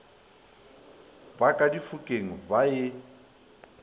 ba ka difokeng ba e